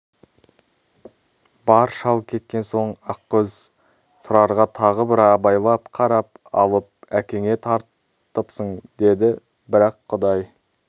бар шал кеткен соң ақкөз тұрарға тағы бір абайлап қарап алып әкеңе тартыпсың деді бірақ құдай